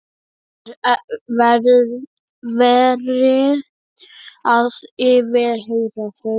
Það er verið að yfirheyra þau.